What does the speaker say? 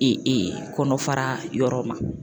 E e kɔnɔfara yɔrɔ ma